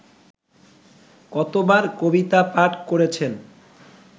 কতবার কবিতা-পাঠ করেছেন